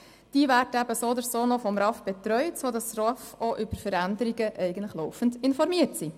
Ausgesteuerte werden so oder so noch von einem RAV betreut, sodass die RAV eigentlich auch laufend über Veränderungen informiert sind.